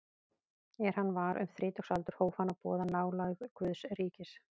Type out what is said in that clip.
Er hann var um þrítugsaldur hóf hann að boða nálægð Guðs ríkis.